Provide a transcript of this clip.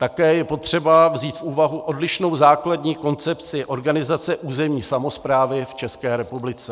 Také je potřeba vzít v úvahu odlišnou základní koncepci organizace územní samosprávy v České republice.